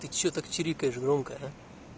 ты что так чирикаешь громко